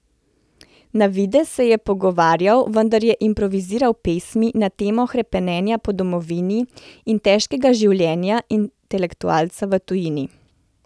Na videz se je pogovarjal, vendar je improviziral pesmi na temo hrepenenja po domovini in težkega življenja intelektualca v tujini.